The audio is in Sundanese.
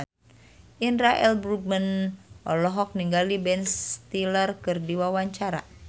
Indra L. Bruggman olohok ningali Ben Stiller keur diwawancara